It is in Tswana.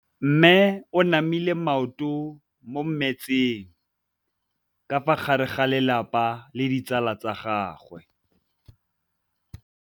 Mme o namile maoto mo mmetseng ka fa gare ga lelapa le ditsala tsa gagwe.